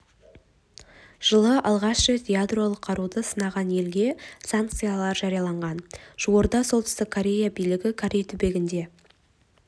жылы алғаш рет ядролық қаруды сынағалы елге санкциялар жарияланған жуырда солтүстік корея билігі корей түбегінде